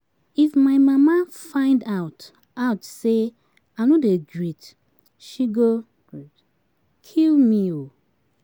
If my mama find out out say I no dey greet she go kill me um